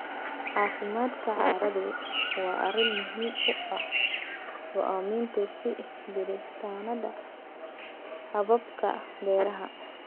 Caafimaadka carradu waa arrin muhiim u ah go'aaminta sii jiritaannada hababka beeraha.